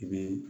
I bɛ